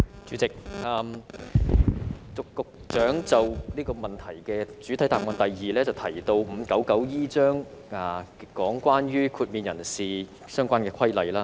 主席，局長在主體答覆的第二部分提到第 599E 章，有關豁免人士的相關規例。